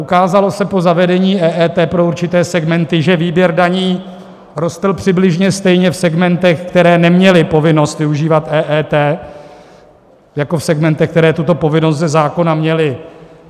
Ukázalo se po zavedení EET pro určité segmenty, že výběr daní rostl přibližně stejně v segmentech, které neměly povinnost využívat EET, jako v segmentech, které tuto povinnost ze zákona měly.